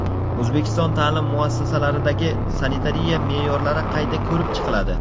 O‘zbekiston ta’lim muassasalaridagi sanitariya me’yorlari qayta ko‘rib chiqiladi.